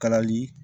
Kalali